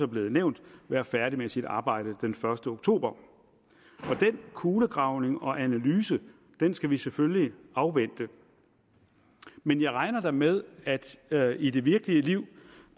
blevet nævnt være færdig med sit arbejde den første oktober og den kulegravning og analyse skal vi selvfølgelig afvente men jeg regner da med at der i det virkelige liv